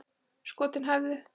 Skotin hæfðu!